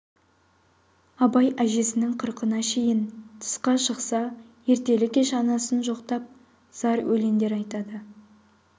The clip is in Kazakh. абай әжесінің қырқына шейін тысқа шықса ертелі-кеш анасын жоқтап зар өлеңдер айтады